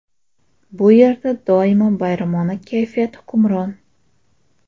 Bu yerda doimo bayramona kayfiyat hukmron .